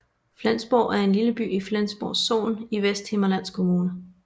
Flejsborg er en lille by i Flejsborg Sogn i Vesthimmerlands Kommune